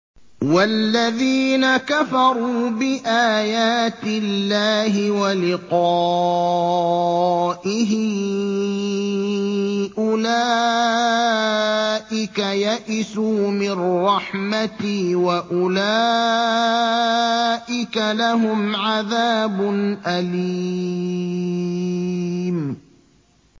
وَالَّذِينَ كَفَرُوا بِآيَاتِ اللَّهِ وَلِقَائِهِ أُولَٰئِكَ يَئِسُوا مِن رَّحْمَتِي وَأُولَٰئِكَ لَهُمْ عَذَابٌ أَلِيمٌ